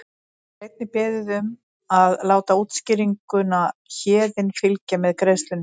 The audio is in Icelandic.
Þá er einnig beðið um að láta útskýringuna Héðinn fylgja með greiðslunni.